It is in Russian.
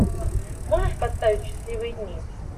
можешь поставить счастливые дни